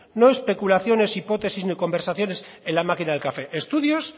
no especulaciones hipótesis ni conversaciones en la máquina del café estudios